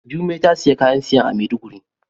Jumai ta siya kayan sayan a maiduguri.